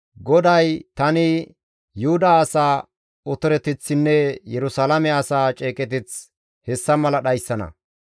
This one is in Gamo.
«GODAY tani Yuhuda asaa otoreteththinne Yerusalaame asaa ceeqeteth hessa mala dhayssana.